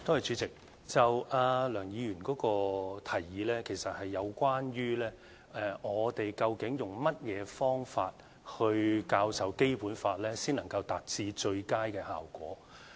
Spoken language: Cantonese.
主席，梁議員的提議，其實是有關當局究竟用甚麼方法教授《基本法》，才能夠達致最佳的效果。